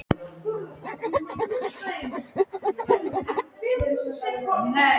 Tryggvína, hvernig verður veðrið á morgun?